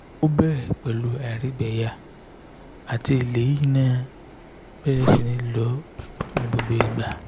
o bere pelu airigbeya ati lẹyin naa bere si ni lo nigbogbo igba